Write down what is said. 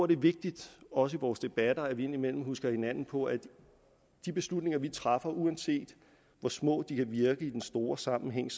det er vigtigt også i vores debatter indimellem at huske hinanden på at de beslutninger vi træffer uanset hvor små de kan virke i den store sammenhæng